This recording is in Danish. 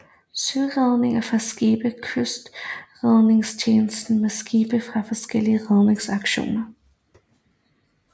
Søredninger fra skibe fra Kystredningstjenesten med skibe fra forskellige redningsstationer